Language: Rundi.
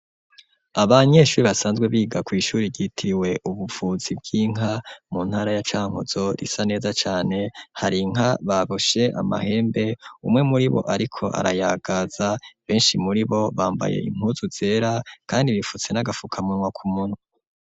Abanyeshuri basanzwe biga kw'ishuri ryitiwe ubuvuzi bw'inka mu ntara ya Cankuzo risa neza cane hari inka baboshe amahembe umwe muribo ariko arayagaza beshi muribo bambaye impuzu zera kandi bipfutse n'agapfukamunwa ku munwa.